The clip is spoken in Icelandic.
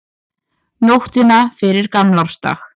Nóttina fyrir gamlársdag.